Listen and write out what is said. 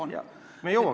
Me jõuame sinna.